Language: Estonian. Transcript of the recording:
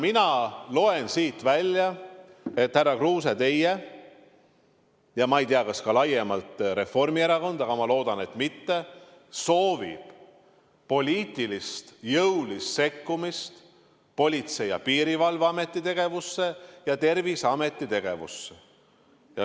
Mina loen siit välja, härra Kruuse, et teie ja, ma ei tea, kas ka laiemalt Reformierakond – aga ma loodan, et mitte – soovite poliitilist jõulist sekkumist Politsei- ja Piirivalveameti tegevusse ja Terviseameti tegevusse.